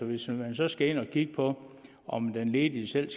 hvis man så skal ind at kigge på om den ledige selv